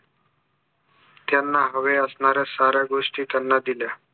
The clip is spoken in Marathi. त्यांना हव्या असणाऱ्या साऱ्या गोष्टी त्यांना दिल्या